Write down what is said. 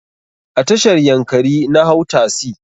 A tashar yankari na hau tasi.